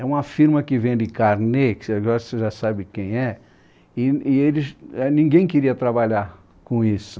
É uma firma que vende carnê, que agora você já sabe quem é, e e eles e ninguém queria trabalhar com isso.